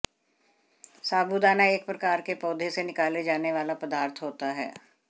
साबूदाना एक प्रकार के पौधे से निकाले जाने वाला पदार्थ होता है